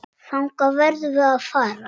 Þangað verðum við að fara.